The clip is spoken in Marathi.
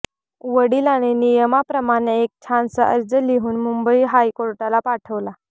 वडिलांनी नियमाप्रमाणे एक छानसा अर्ज लिहून मुंबई हायकोर्टाला पाठवला